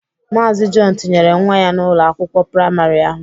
Maazi Jọn tinyere nwa ya n'Ụlọ akwụkwọ praịmarị ahụ.